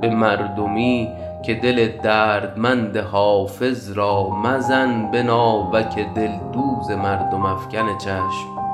به مردمی که دل دردمند حافظ را مزن به ناوک دلدوز مردم افکن چشم